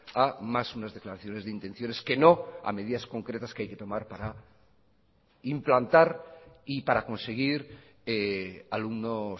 a más unas declaraciones de intenciones que no a medidas concretas que hay que tomar para implantar y para conseguir alumnos